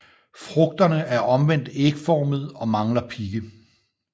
Frugterne er omvendt ægformede og mangler pigge